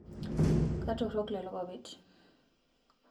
katork lelopapit